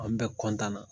An bɛ kɔntiniye